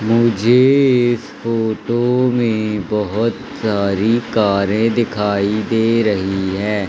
मुझे इस फोटो में बहोत सारी कारें दिखाई दे रही है।